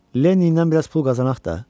Leninlə biraz pul qazanaq da.